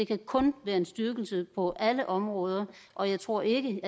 kan kun være en styrkelse på alle områder og jeg tror ikke